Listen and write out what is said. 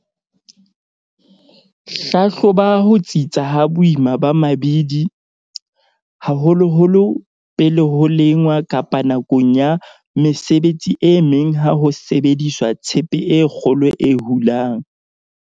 Hlahloba ho tsitsa ha boima ba mabidi, haholoholo pele ho lengwa kapa nakong ya mesebetsi e meng ha ho sebediswa tshepe e kgolo e hulang.